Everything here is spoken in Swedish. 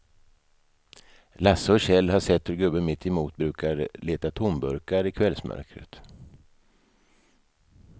Lasse och Kjell har sett hur gubben mittemot brukar leta tomburkar i kvällsmörkret.